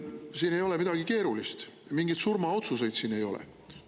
Siin ei ole midagi keerulist, mingeid surmaotsuseid siin ei ole.